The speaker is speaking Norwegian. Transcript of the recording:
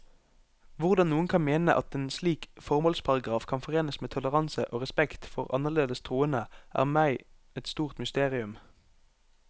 Hvordan noen kan mene at en slik formålsparagraf kan forenes med toleranse og respekt for annerledes troende, er meg et stort mysterium.